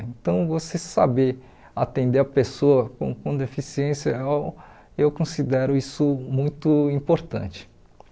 Então, você saber atender a pessoa com com deficiência, eu eu considero isso muito importante.